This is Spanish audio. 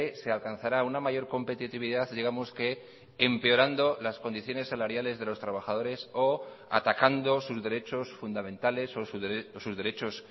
se alcanzará una mayor competitividad digamos que empeorando las condiciones salariales de los trabajadores o atacando sus derechos fundamentales o sus derechos